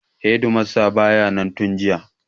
Hedimastan ba ya nan tun jiya.